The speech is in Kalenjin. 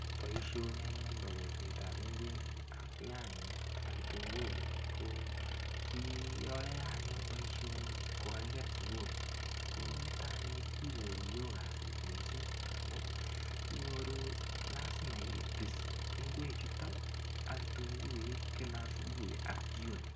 Boishonik anyun bo kolsetab ng'wek ak nyanyek ak kitunguik ko kiayoe anyun boishoni kokakiker sukul ko nito anyun inyoru yoo kasit mising' amu inyoru lazima ipis ng'wechuto ak kitunguik kila asubuhi ak jikoni